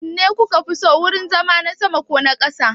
Wanne kuka fi so, wurin zama na sama ko na ƙasa?